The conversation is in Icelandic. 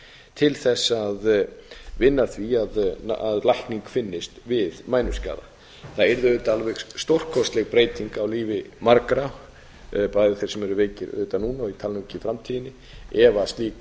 til þess að vinna að því að lækning finnist við mænuskaða það yrði auðvitað alveg stórkostleg breyting á lífi margra bæði þeirra sem eru veikir núna og ég tala nú ekki um í framtíðinni ef slík